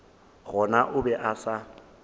gona o be a sa